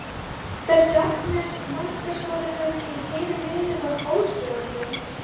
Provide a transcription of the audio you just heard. Þessi Agnes, markaskorarinn í hinu liðinu var óstöðvandi.